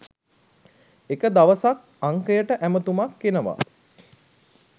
එක දවසක් අංකයට ඇමතුමක් එනවා